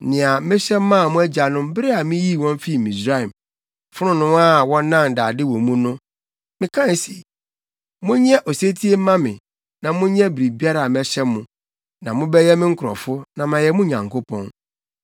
nea mehyɛ maa mo agyanom bere a miyii wɔn fii Misraim, fononoo a wɔnan dade wɔ mu no.’ Mekae se, ‘Monyɛ osetie mma me na monyɛ biribiara a mehyɛ mo, na mobɛyɛ me nkurɔfo na mayɛ mo Nyankopɔn.